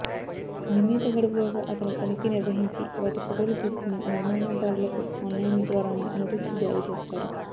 నిర్ణీత గడువులోగా అతను తనిఖీ నిర్వహించి వాటి ఫొటోలు తీసుకొని నిర్మాణదారులకు ఆన్లైన్ ద్వారానే నోటీసులు జారీ చేస్తారు